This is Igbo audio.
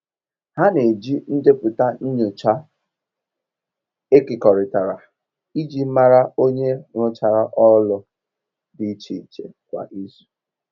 Ha n'eji ndepụta nyocha ekekọrịtara iji mara onye rụchara ọlụ di iche iche kwa izu.